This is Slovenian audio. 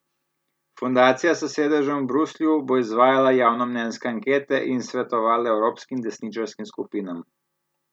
Fundacija s sedežem v Bruslju bo izvajala javnomnenjske ankete in svetovala evropskim desničarskim skupinam.